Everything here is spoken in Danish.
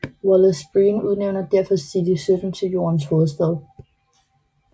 Wallace Breen udnævner derefter City 17 til jordens hovedstad